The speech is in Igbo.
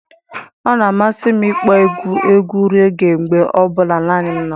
Ọ na-amasị m ịkpọ egwu rege mgbe ọ bụla naanị m nọ.